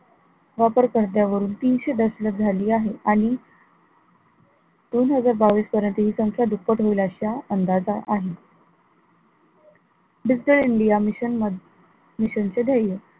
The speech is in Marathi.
वापरकर्त्यांवरून तीनशे दशलक्ष झालेली आहे आणि दोन हजार बावीस पर्यंत हि संख्या दुप्पट होईल अश्या अंदाजा आहे digital india mission मध्ये, mission चे ध्येय